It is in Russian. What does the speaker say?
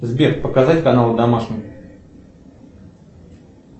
сбер показать канал домашний